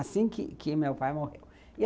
Assim que que meu pai morreu.